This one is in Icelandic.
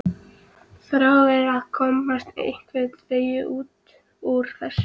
Þráir að komast einhvern veginn út úr þessu.